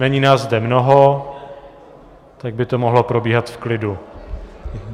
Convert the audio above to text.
Není nás zde mnoho, tak by to mohlo probíhat v klidu.